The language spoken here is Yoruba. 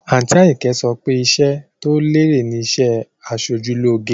Àǹtí Àyìnkẹ́ so pé iṣẹ́ tó lérè ni iṣẹ́ aṣojú lóge